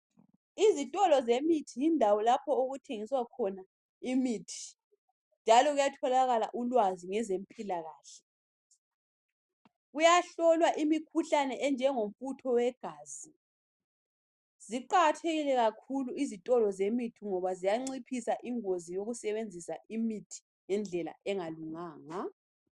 Izitolo zemithi yindawo lapho okuthengiswa khona imithi njalo kuyatholakala ulwazi ngezempilakahle. Kuyahlolwa imikhuhlane enjengomfutho wegazi. Ziqakathekile kakhulu izitolo zemithi ngoba ziyanciphisa ingozi yokusebenzisa imithi ngendlela engalunganga.